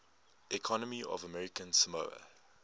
economy of american samoa